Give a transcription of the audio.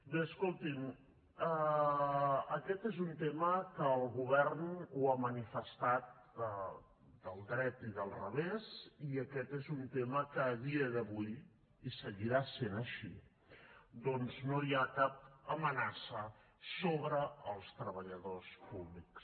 bé escolti’m aquest és un tema que el govern s’hi ha manifestat del dret i del revés i aquest és un tema que a dia d’avui i seguirà sent així doncs no hi ha cap amenaça sobre els treballadors públics